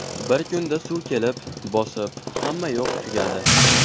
Bir kunda suv kelib, bosib, hammayoq tugadi.